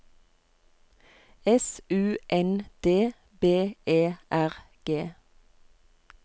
S U N D B E R G